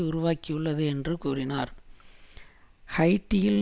உருவாக்கியுள்ளது என்று கூறியுள்ளார் ஹைட்டியில்